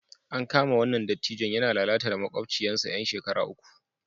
An kama wannan dattijon yana lalata da makwabcinsa 'yar shekara uku